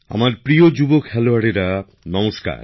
আমার প্রিয় যুব খেলোয়াড়রা নমস্কার